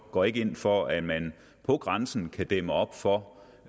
går ikke ind for at man på grænsen kan dæmme op for